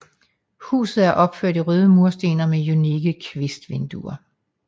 Huset er opført i røde mursten og med unikke kvistvinduer